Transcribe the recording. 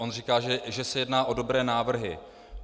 On říká, že se jedná o dobré návrhy.